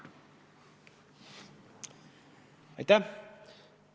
Aitäh!